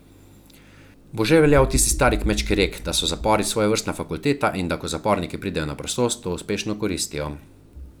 Bo že veljal tisti stari kmečki rek, da so zapori svojevrstna fakulteta in da ko zaporniki pridejo na prostost, to uspešno koristijo.